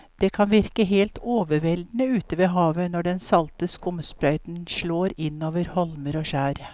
Det kan virke helt overveldende ute ved havet når den salte skumsprøyten slår innover holmer og skjær.